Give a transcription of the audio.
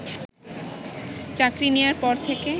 চাকরি নেয়ার পর থেকে